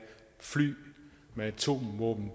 fly med atomvåben